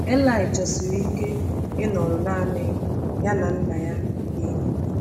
eli chọsiri ike ịnọrọ naanị ya na Nna ya nke eluigwe.